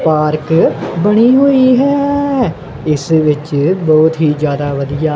park ਬਣੀ ਹੋਈ ਹੈ ਇਸ ਵਿੱਚ ਬਹੁਤ ਹੀ ਜਿਆਦਾ ਵਧੀਆ--